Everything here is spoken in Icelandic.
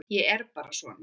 Ég er bara svona.